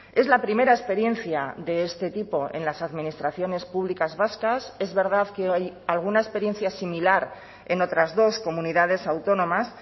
es la primera experiencia de este tipo en las administraciones públicas vascas es verdad que hay alguna experiencia similar en otras dos comunidades autónomas